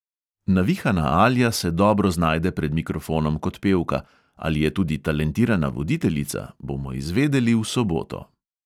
Navihana alja se dobro znajde pred mikrofonom kot pevka – ali je tudi talentirana voditeljica, bomo izvedeli v soboto.